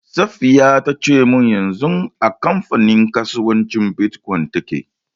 Safiya ta ce min yanzu a kamfanin kasuwancin Bitcoin take.